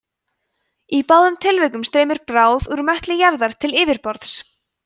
í báðum tilvikum streymir bráð úr möttli jarðar til yfirborðs